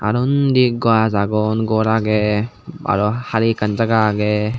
aro undi gaj agon gor agey aro hali ekkan jaga agey.